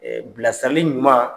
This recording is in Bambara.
bilasirali ɲuman